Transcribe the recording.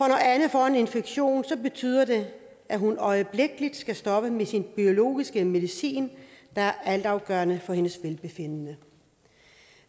anne får en infektion betyder det at hun øjeblikkelig skal stoppe med sin biologiske medicin der er altafgørende for hendes velbefindende